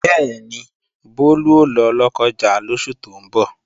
Bẹ́ẹ̀ni, Bólú ó lọ Lọ́kọ́ja lóṣù tó ń bọ̀